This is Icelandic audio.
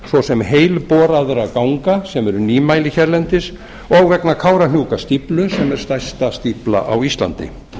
svo sem heilboraðra ganga sem eru nýmæli hérlendis og vegna kárahnjúkastíflu sem er stærsta stífla á íslandi